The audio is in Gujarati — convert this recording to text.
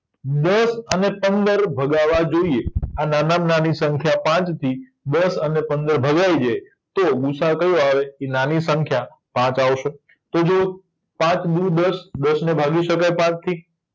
અને પંદર ભગાવા જોયે આ નાનામાં નાની સંખ્યા પાંચ થી દસ અને પંદર ભગાય જાય તો ગુસાઅ કયો આવે ઇ નાની સંખ્યા સાત આવશે તો જો પાંચ દુ દસ દસને ભાગી શકાય પાંચથી